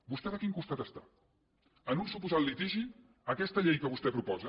vostè de quin costat està en un suposat litigi aquesta llei que vostè proposa